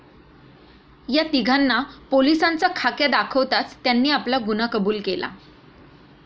या तीघांना पोलिसांचा खाक्या दाखवताच त्यांनी आपला गुन्हा कबुल केला.